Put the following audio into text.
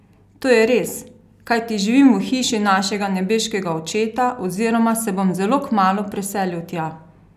To je res, kajti živim v hiši našega nebeškega Očeta oziroma se bom zelo kmalu preselil tja!